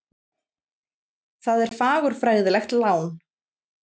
Það er fagurfræðilegt lán.